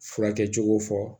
Furakɛ cogo fɔ